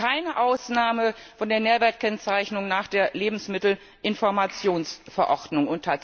Es gäbe keine Ausnahme von der Nährwertkennzeichnung nach der Lebensmittelinformationsverordnung.